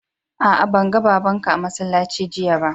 Aa, ban gan babban ka a'masallaci jiya ba.